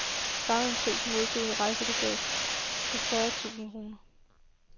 Sammen med prisen modtog hun et rejselegat på fyrre tusind kroner.